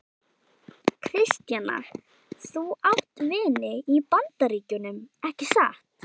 Kristjana: Þú átt vini í Bandaríkjunum, ekki satt?